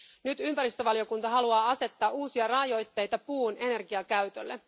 Nyt ympäristövaliokunta haluaa asettaa uusia rajoitteita puun energiakäytölle.